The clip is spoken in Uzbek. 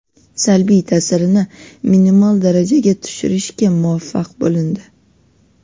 salbiy ta’sirini minimal darajaga tushirishga muvaffaq bo‘lindi.